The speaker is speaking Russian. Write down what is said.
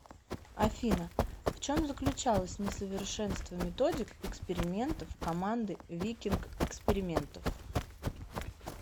афина в чем заключалось несовершенство методик экспериментов команды викинг экспериментов